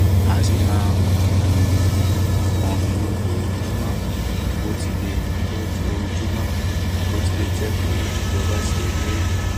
a ṣi máa um n pọn omi lójoojúmọ bó tilẹ lójoojúmọ bó tilẹ jẹ pé ijọba ṣe ìlérí